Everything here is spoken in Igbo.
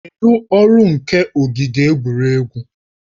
Kedụ ọrụ nke ogige egwuregwu?